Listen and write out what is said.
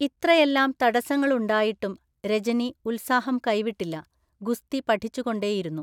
ഇത്രയെല്ലാം തടസ്സങ്ങളുണ്ടായിട്ടും രജനി ഉത്സാഹം കൈവിട്ടില്ല, ഗുസ്തി പഠിച്ചു കൊണ്ടേയിരുന്നു.